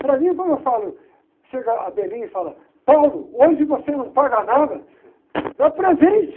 Para mim, quando eu falo, chega a e fala, hoje você não paga nada, é presente.